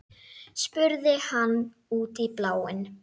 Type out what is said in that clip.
spurði hann út í bláinn.